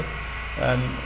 en